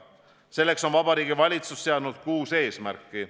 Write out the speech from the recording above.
Selleks on Vabariigi Valitsus seadnud kuus eesmärki.